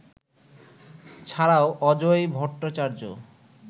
ছাড়াও অজয় ভট্টাচার্য